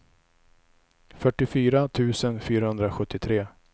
fyrtiofyra tusen fyrahundrasjuttiotre